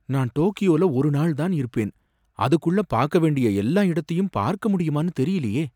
நான் டோக்யோவுல ஒரு நாள் தான் இருப்பேன், அதுக்குள்ள பார்க்க வேண்டிய எல்லா இடத்தையும் பார்க்க முடியுமானு தெரியலயே!